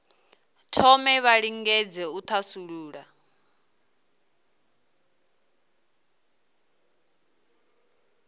thome vha lingedze u thasulula